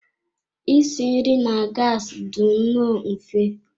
Isi nri na gassi dị nnọọ mfe.